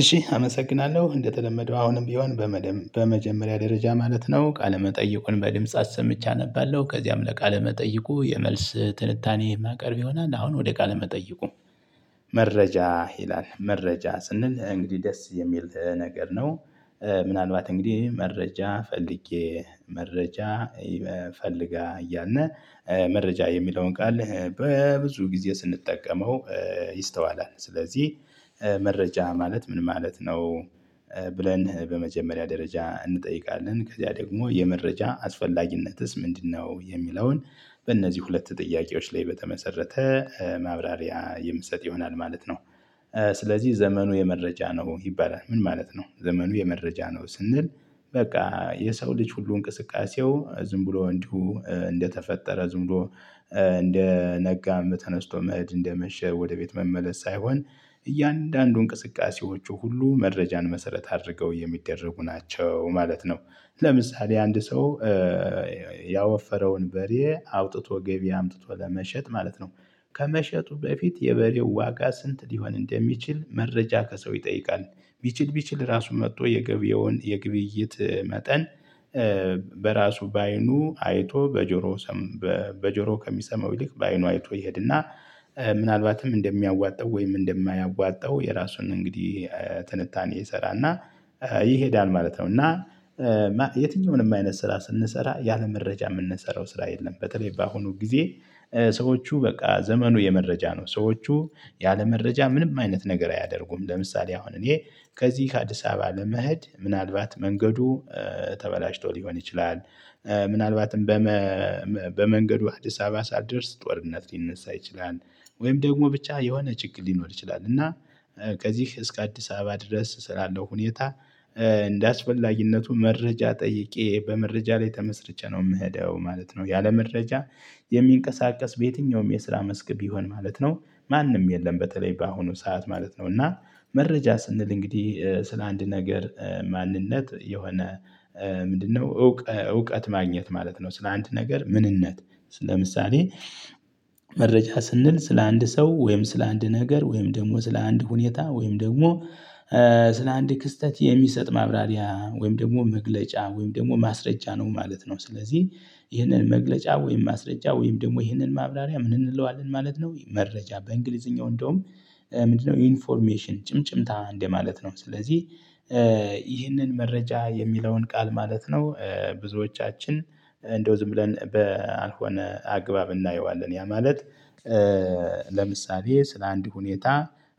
እሺ አመሰግናለሁ እንደተለመደው አሁንም ቢሆን በመደም በመጀመሪያ ደረጃ ማለት ነው ቃለ መጠይቁን በድምጽ አሰምቼ አነባለሁ። ከዚያም ለቃለ መጠይቁ የመልስ ትንታኔ ማቅረብ ይሆናል። አሁን ወደ ቃለ መጠይቁ መረጃ ይላል መረጃ ስንል እንግዲህ ደስ የሚል ነገር ነው። ምናልባት እንግዲህ መረጃ ፈልጌ መረጃ ፈልጋ እያልን መረጃ የሚለውን ቃል በብዙ ጊዜ ስንጠቀመው ይስተዋላል። ስለዚህ መረጃ ማለት ምን ማለት ነው? ብለን በመጀመሪያ ደረጃ እንጠይቃለን ከዛ ደግሞ የመረጃ አስፈላጊነትስ ምንድነው የሚለውን በእነዚህ ሁለት ጥያቄዎች ላይ በተመሰረተ ማብራሪያ የምትሰጥ ይሆናል ማለት ነው። ስለዚህ ዘመኑ የመረጃ ነው ይባላል ምን ማለት ነው? ዘመኑ የመረጃ ነው ስንል በቃ የሰው ልጅ ሁሉ እንቅስቃሴው ዝም ብሎ እንዲሁ እንደተፈጠረ ዝም ብሎ ኧ እንደ ነጋም ተነስቶ መሀድ እንደመሸ ወደ ቤት መመለስ ሳይሆን እያንዳንዱ እንቅስቃሴዎቹ ሁሉ መረጃን መሰረት አድርገው የሚደረጉ ናቸው ማለት ነው። ለምሳሌ አንድ ሰው ያወፈረውን በሬ አውጥቶ ገቢ አምጥቶ ለመሸጥ ማለት ነው። ከመሸጡ በፊት የበሬው ዋጋ ስንት ሊሆን እንደሚችል መረጃ ከሰው ይጠይቃል። ቢችል ቢችል ራሱ መጥቶ የገበያውን የግብይት መጠን በራሱ በአይኑ አይቶ በጆሮ ሰም በጆሮ ከሚሰማው ይልቅ በአይኑ አይቶ ይሄድና ምናልባትም እንደሚያዋጣው ወይም እንደማያዋጣው የራሱን እንግዲህ ትንታኔ ይሰራል እና ይሄዳል ማለት ነው። እና የትኛውንም አይነት ስራ ስንሰራ ያለመረጃ የምንሰራው ስራ የለም። በተለይ በአሁኑ ጊዜ ሰዎቹ በቃ ዘመኑ የመረጃ ነው ሰዎቹ ያለመረጃ ምንም አይነት ነገር አያደርጉም። ለምሳሌ አሁን እኔ ከዚህ ከአዲስ አበባ ለመሄድ ምናልባት መንገዱ ኧ ተበላሽቶ ሊሆን ይችላል። ምናልባትም በመ በመንገዱ አዲስ አበባ ሳትደርስ ጦርነት ሊነሳ ይችላል ወይም ደግሞ ብቻ የሆነ ችግር ሊኖር ይችላል እና ከዚህ እስከ አዲስ አበባ ድረስ ስላለው ሁኔታ እንደአስፈላጊነቱ መረጃ ጠይቄ በመረጃ ላይ ተመስርቸ ነው የምሄደው ማለት ነው። ያለ መረጃ የሚንቀሳቀስ በየትኛውም የስራ መስክ ቢሆን ማለት ነው ማንም የለም በተለይ በአሁኑ ሰዓት ማለት ነው። እና መረጃ ስንል እንግዲህ ኧ ስለ አንድ ነገር ማንነት የሆነ ምንድነው እውቀ እውቀት ማግኘት ማለት ነው። ስለ አንድ ነገር ምንነት ስ ለምሳሌ መረጃ ስንል ስለ አንድ ሰው ወይም ስለ አንድ ነገር ወይም ደግሞ ስለ አንድ ሁኔታ ወይም ደግሞ ስለ አንድ ክስተት የሚሰጥ ማብራሪያ ወይም ደግሞ መግለጫ ወይም ደግሞ ማስረጃ ነው ማለት ነው። ስለዚህ ይሄንን መግለጫ ወይም ማስረጃ ወይም ደግሞ ይህንን ማብራሪያ ምን እንለዋለን ማለት ነው? መረጃ በእንግሊዝኛው እንደውም ምንድነው ኢንፎርሜሽን ጭምጭምታ እንደማለት ነው። ስለዚህ ይህንን መረጃ የሚለውን ቃል ማለት ነው ብዙዎቻችን እንደው ዝም ብለን በአልሆነ አግባብ እናየዋለን ያ ማለት። ለምሳሌ ስለአንድ ሁኔታ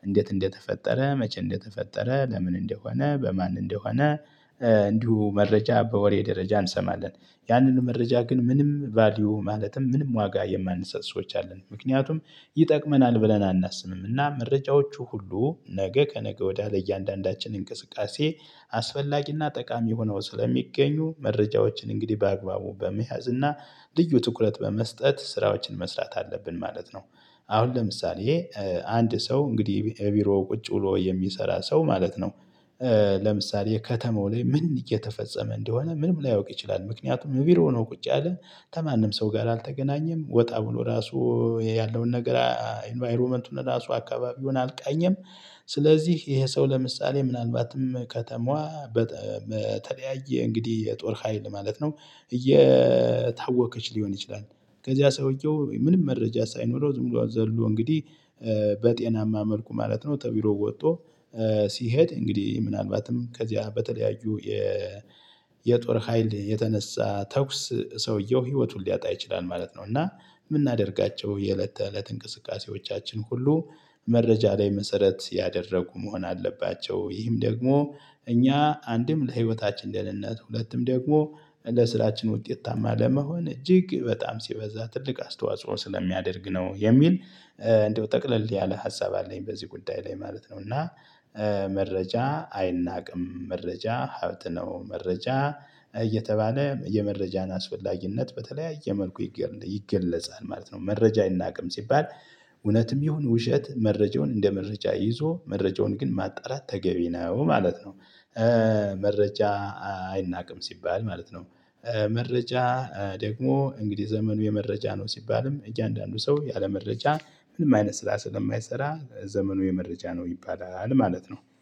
እንዴት እንደተፈጠረ መቼ እንደተፈጠረ ለምን እንደሆነ በማን እንደሆነ? እንዲሁ መረጃ በወሬ ደረጃ እንሰማለን ያንን መረጃ ግን ምንም ቫልዩ ማለትም ምንም ዋጋ የማንሰጥ ሰዎች አሉን ምክንያቱም ይጠቅመናል ብለናል አናስብም። እና መረጃዎቹ ሁሉ ነገ ከነገ ወዳ ለእያንዳንዳችን እንቅስቃሴ አስፈላጊና ጠቃሚ ሆነው ስለሚገኙ መረጃዎችን እንግዲህ በአግባቡ በመያዝ እና ልዩ ትኩረት በመስጠት ስራዎችን መስራት አለብን ማለት ነው። አሁን ለምሳሌ ኧ አንድ ሰው እንግዲህ እቢሮ ቁጭ ብሎ የሚሰራ ሰው ማለት ነው። ለምሳሌ ከተማው ላይ ምን እየተፈጸመ እንደሆነ ምንም ላያውቅ ይችላል ምክንያቱም ቢሮ ነው ቁጭ ያለው ከማንም ሰው ጋር አልተገናኘም ወጣ ብሎ ራሱ ያለውን ነገር ኢንቫይሮመንቱን ራሱ አካባቢውን አልቃኘም። ስለዚህ ይሄ ሰው ለምሳሌ ምናልባትም ከተማዋ በተለያየ እንግዲህ የጦር ሀይል ማለት ነው እየየየታወቀች ሊሆን ይችላል። ከዚያ ሰውየው ምንም መረጃ ሳይኖረው ዝም ብሎ ዘሎ እንግዲህ በጤናማ መልኩ ማለት ነው ተቢሮ ወጥቶ ሲሄድ እንግዲህ ምናልባትም ከዚያ በተለያዩ የ የጦር ሀይል የተነሳ ተኩስ ሰውየው ህይወቱን ሊያጣ ይችላል ማለት ነው። እና የምናደርጋቸው የእለት ተእለት እንቅስቃሴዎቻችን ሁሉ መረጃ ላይ መሰረት ያደረጉ መሆን አለባቸው። ይህም ደግሞ እኛ አንድም ለህይወታችን ልእልነት ሁለቱም ደግሞ ለስራችን ውጤታማ ለመሆን እጅግ በጣም ሲበዛ ትልቅ አስተዋጽኦ ስለሚያደርግ ነው የሚል እንደው ጠቅለል ያለ ሀሳብ አለኝ በዚህ ጉዳይ ላይ ማለት ነው። እና መረጃ አይናቅም መረጃ ሀብት ነው። መረጃ እየተባለ የመረጃን አስፈላጊነት በተለያየ መልኩ ይገለጻል ማለት ነው። መረጃ አይናቅም ሲባል እውነትም ይሁን ውሸት መረጃውን እንደ መረጃ ይዞ መረጃውን ግን ማጣራት ተገቢ ነው ማለት ነውደ መረጃ አይናቅም ሲባል ማለት ነው። መረጃ ደግሞ እንግዲህ ዘመኑ የመረጃ ነው ሲባልም እያንዳንዱ ሰው ያለመረጃ ምንም አይነት ስራ ስለማይሰራ ዘመኑ የመረጃ ነው ይባላል ማለት ነው